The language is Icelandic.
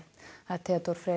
Theodór Freyr